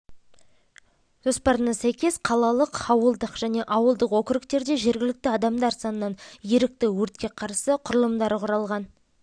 жоспарына сәйкес қалалық ауылдық және ауылдық округтерде жергілікті адамдар санынан ерікті өртке қарсы құралымдары құралған